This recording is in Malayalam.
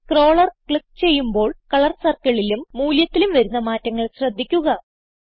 സ്ക്രോളർ ക്ലിക്ക് ചെയ്യുമ്പോൾ കളർ circleലും മൂല്യത്തിലും വരുന്ന മാറ്റങ്ങൾ ശ്രദ്ധിക്കുക